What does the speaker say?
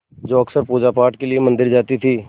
जो अक्सर पूजापाठ के लिए मंदिर जाती थीं